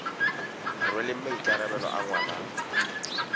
rweleng maikarabelo a ngwana a